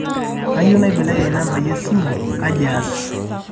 kayieu naibelekeny nambai e simu kaji aas